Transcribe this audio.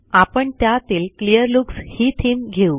आपण त्यातील क्लिअरलुक्सही थीम घेऊ